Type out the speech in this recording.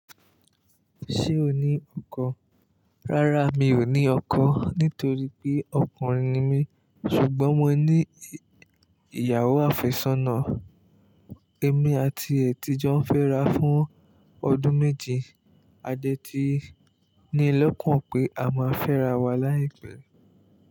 Ṣé o ní ọkọ? Rárá mi ò ní ọkọ nítorí pé ọkùnrin ni mí ṣùgbọ́n mo ní ìyàwó àfẹ́sọ́nà. Èmi àti ẹ̀ tìjọ́ fẹ́ra fún ọdún méjì, a dẹ́ ti ní lọ́kàn pé a máa fẹ́ra wa láìpẹ́.